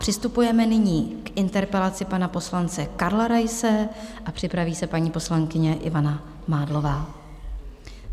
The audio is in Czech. Přistupujeme nyní k interpelaci pana poslance Karla Raise a připraví se paní poslankyně Ivana Mádlová.